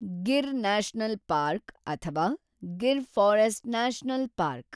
Gir National Park ಅಥವಾ Gir Forest National park